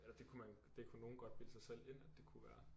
Eller det kunne man det kunne nogen godt bilde sig selv ind at det kunne være